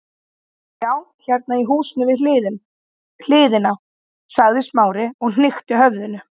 Já, hérna í húsinu við hliðina- sagði Smári og hnykkti höfðinu.